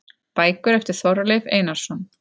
Bækur eftir Þorleif Einarsson